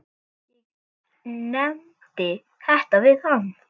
Ég nefndi þetta við hann.